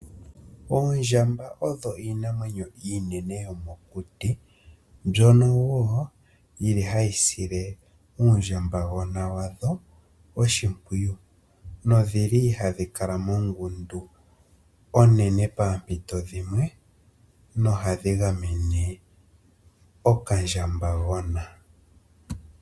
Oondjamba odho iinamwenyo iinene yomokuti mbyono wo yili hayi sile uundjambagona wadho oshimpwiyu nodhili hadhi kala mongundu onene poompito dhimwe nohadhi gamene okandjambagona.